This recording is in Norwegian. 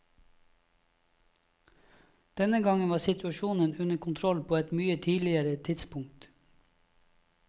Denne gangen var situasjonen under kontroll på et mye tidligere tidspunkt.